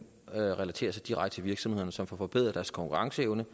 relaterer sig direkte til virksomhederne som får forbedret deres konkurrenceevne